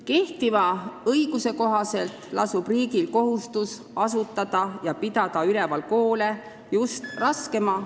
Kehtiva õiguse kohaselt lasub riigil kohustus asutada ja pidada üleval koole just raskemate ...